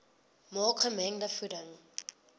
maak gemengde voeding